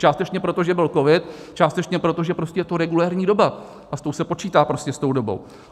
Částečně proto, že byl covid, částečně proto, že prostě je to regulérní doba a s tou se počítá prostě, s tou dobou.